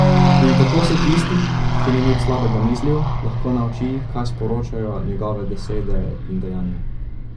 In tako se tisti, ki ni nič slabega mislil, lahko nauči, kaj sporočajo njegove besede in dejanja.